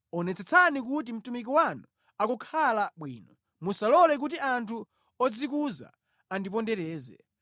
Onetsetsani kuti mtumiki wanu akukhala bwino, musalole kuti anthu odzikuza andipondereze.